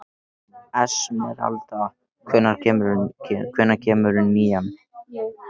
Esmeralda, hvenær kemur nían?